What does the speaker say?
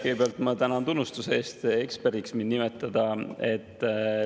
Kõigepealt ma tänan tunnustuse eest, et te mind eksperdiks nimetate.